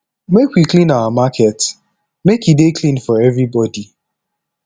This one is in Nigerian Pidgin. make we clean our market make e dey clean for everybody